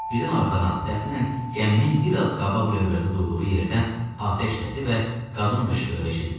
Birdən arxadan, təxminən gəminin biraz qabaq lövbərdə durduğu yerdən atəş səsi və qadın qışqırığı eşidildi.